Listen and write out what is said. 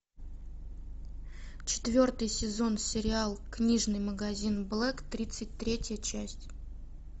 четвертый сезон сериал книжный магазин блэк тридцать третья часть